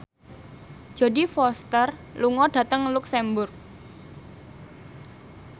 Jodie Foster lunga dhateng luxemburg